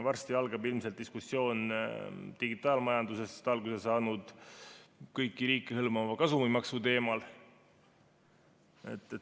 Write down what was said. Varsti algab ilmselt diskussioon digitaalmajandusest alguse saanud kõiki riike hõlmava kasumimaksu teemal.